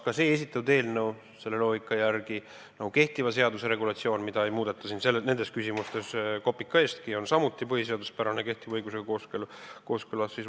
Kas esitatud eelnõu selle loogika järgi, nagu ka kehtiva seaduse regulatsioon, mida ei muudeta nendes küsimustes kopika eestki, on samuti põhiseaduspärane ja kehtiva õigusega kooskõlas?